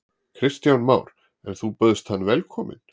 Kristján Már: En þú bauðst hann velkomin?